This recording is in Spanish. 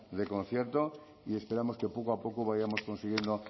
de concierto y esperamos que poco a poco vayamos consiguiendo